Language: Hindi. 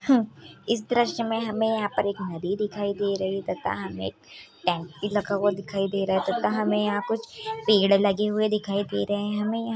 हह इस दृश्य में हमे यहाँ पर एक नदी दिखाई दे रही है तथा हमें एक टैंक भी लगा हुआ दिखाई दे रहा है तथा हमें यहाँ कुछ पेड़ लगे हुए दिखाई दे रहे हैं हमें यहाँ--